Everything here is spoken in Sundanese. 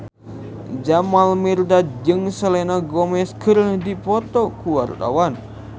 Jamal Mirdad jeung Selena Gomez keur dipoto ku wartawan